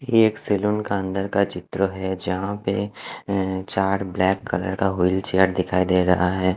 ये एक सलोन का अंदर का चित्र है जहा पे चार ब्लैक कलर का विलचैर दिखाई दे रहा है।